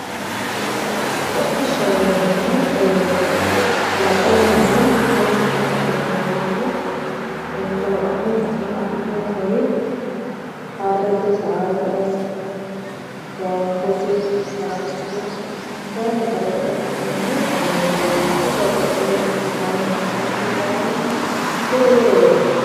hodhishshaho yineemmohu ee kalaqunnina mannu kalaqeewori no yaate kalaqamunni afi'neemmori harrete eee gangote, farashshoho kayinni kalaqote afi'neemmohu kaameelaho yaate babbaxewore hodhisaahu manna hodhisawohu wole wolereno hodhisawo